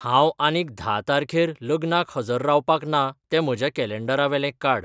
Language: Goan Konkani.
हांव आनीक धा तारखेर लग्नाक हजर रावपाक ना तें म्हज्या कॅलँडरावेलें काड